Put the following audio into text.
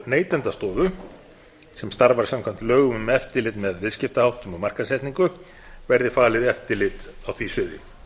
neytendastofu sem starfar samkvæmt lögum um eftirlit með viðskiptaháttum og markaðssetningu verði falið eftirlit á því sviði